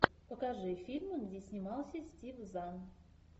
покажи фильмы где снимался стив зан